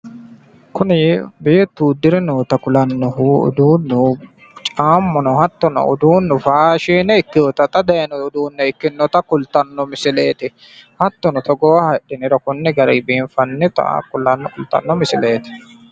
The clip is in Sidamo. kuni beettu uddire noota uduunni faashine ikkinota kultanno misileeti hattono konne hidhiniro biinfannita leellishshanno misileeti.